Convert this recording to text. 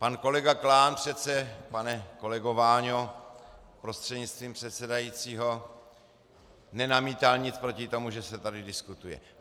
Pan kolega Klán přece, pane kolego Váňo, prostřednictvím předsedajícího, nenamítal nic proti tomu, že se tady diskutuje.